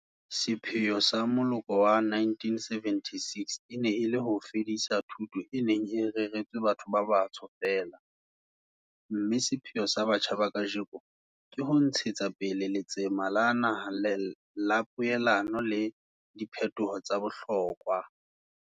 Sepheo sa moloko wa 1976 e ne e le ho fedisa thuto e neng e reretswe batho ba batsho feela, mme sepheo sa batjha ba kajeno ke ho ntshetsa pele letsema la naha la poelano le diphetoho tsa bohlokwa.